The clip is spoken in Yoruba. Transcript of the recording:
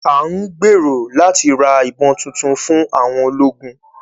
À ń gbèrò láti ra ìbọn tuntun fún àwọn ológun